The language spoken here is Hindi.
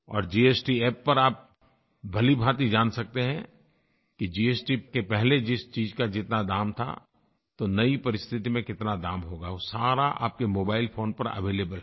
और जीएसटी App पर आप भलीभाँति जान सकते हैं कि जीएसटी के पहले जिस चीज़ का जितना दाम था तो नई परिस्थिति में कितना दाम होगा वो सारा आपके मोबाइल फोन पर अवेलेबल है